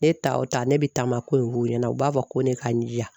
Ne ta o ta ne bi taama ko in f'u ɲɛnɛ u b'a fɔ ko ne ka jija